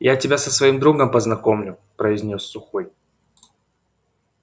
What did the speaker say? я тебя со своим другом познакомлю произнёс сухой